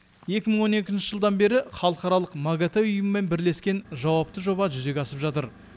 екі мың он екінші жылдан бері халықаралық магатэ ұйымымен бірлескен жауапты жоба жүзеге асып жатыр